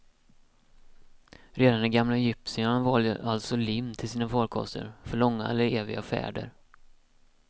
Redan de gamla egyptierna valde alltså lim till sina farkoster, för långa eller eviga färder.